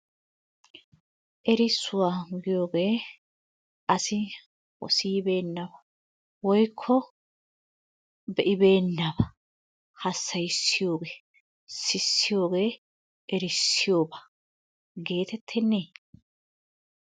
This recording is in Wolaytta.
Erissuwa giyogee asi siyibeenna woyikko be'ibeennabaa jassayissiyogee sissiyogee erissiyoba geetettennee?